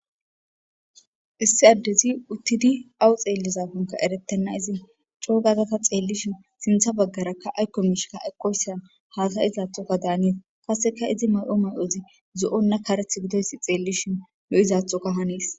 Issi addezi uttidi awu xeellizafonka eretenna izi coogagata xeellishin sintha baggarakka aykko miishika eqqoysa haata izaathoka daanies kaseka izi may'o may'ozi zo'onna kareth gidoysi xeellishin nu izathoka haniis